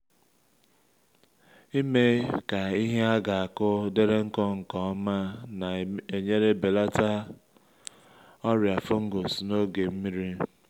imee ka ihe a ga-akụ dịrị nkụ nke ọma na-enyere belata ọrịa fungus n’oge nmiri